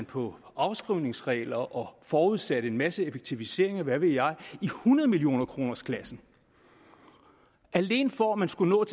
på afskrivningsreglerne og forudsatte en masse effektiviseringer og hvad ved jeg i hundrede millioner kroners klassen alene for at man skulle nå